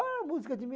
Ah, música de